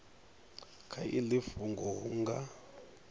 kha iḽi fhungo hu nga